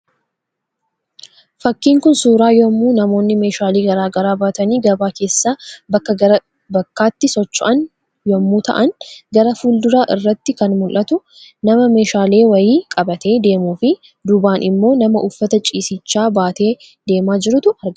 Fakkiin kun, suuraa yemmuu namoonni meeshaalee garaagaraa baatanii gabaa keessa bakka gara bakkaatti socho'an yemmuu ta'an, gara fulduraa irratti kan mul'atu nama meeshaalee wayii qabatee deemuu fi duubaan immoo nama uffata ciisichaa baatee deemaa jirutu argama.